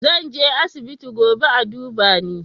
Zan je asibiti gobe a duba ni